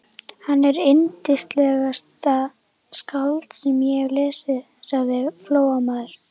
Hann er yndislegasta skáld sem ég hef lesið, sagði Flóamaður.